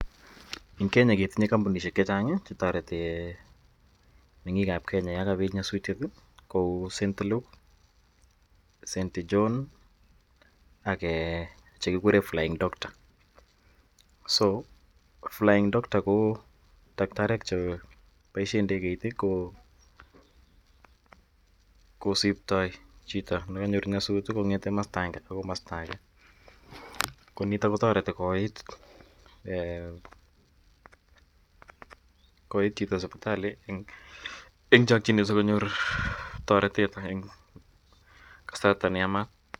En Kenya ketinye kambunishek chechang chetareti mengik ab Kenya yangabit nyasutiet Kou st Luke, st john AK chekikuren flying Doctors ako flying Doctors ko daktariek Chu kobaishen indegeit ? Josibtaen Chito nyasutik kobaishen kamasta agenge AK kamasta age koniton kotareti koit Chito sibitali en chakinet sikonyor taretet en kasarta neyamat